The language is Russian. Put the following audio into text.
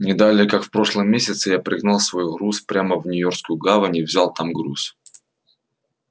не далее как в прошлом месяце я пригнал свой груз прямо в нью-йоркскую гавань и взял там груз